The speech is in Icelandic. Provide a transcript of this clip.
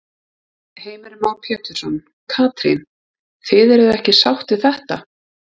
Heimir Már Pétursson: Katrín, þið eruð ekki sátt við þetta?